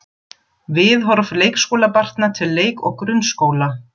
Viðhorf leikskólabarna til leik- og grunnskóla